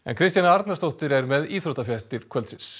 Kristjana Arnarsdóttir er með íþróttafréttir kvöldsins